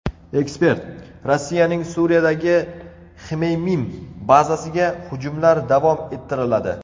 Ekspert: Rossiyaning Suriyadagi Xmeymim bazasiga hujumlar davom ettiriladi.